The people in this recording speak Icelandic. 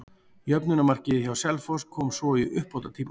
Jöfnunarmarkið hjá Selfoss kom svo í uppbótartíma.